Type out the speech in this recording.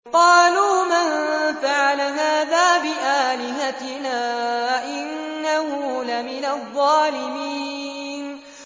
قَالُوا مَن فَعَلَ هَٰذَا بِآلِهَتِنَا إِنَّهُ لَمِنَ الظَّالِمِينَ